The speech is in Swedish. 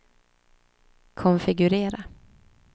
konfigurera